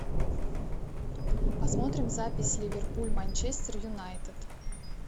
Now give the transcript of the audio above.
посмотрим запись ливерпуль манчестер юнайтед